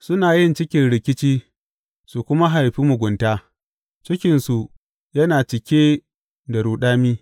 Suna yin cikin rikici su kuma haifi mugunta; cikinsu yana cike da ruɗami.